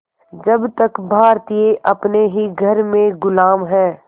जब तक भारतीय अपने ही घर में ग़ुलाम हैं